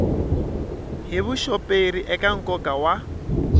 hi vuxoperi eka nkoka wa